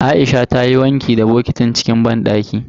Aisha ta yi wanki da bokitin cikin banɗaki.